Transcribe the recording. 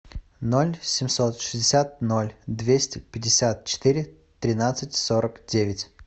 ноль семьсот шестьдесят ноль двести пятьдесят четыре тринадцать сорок девять